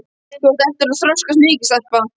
Þú átt eftir að þroskast mikið, stelpa.